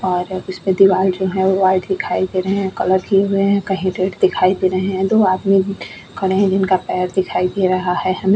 और इस पे दीवार जो है वो व्हाइट दिखाई दे रहे हैं कलर किए हुए हैं कहीं रेड दिखाई दे रहे हैं दो आदमी भी खड़े हैं जिनका पैर दिखाई दे रहा है हमे।